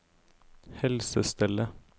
helsestellet